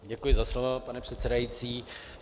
Děkuji za slovo, pane předsedající.